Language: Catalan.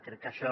crec que això